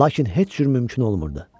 Lakin heç cür mümkün olmurdu.